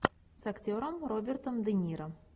с актером робертом де ниро